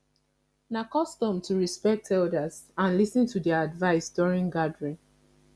na custom to respect elders and lis ten to their advice during gathering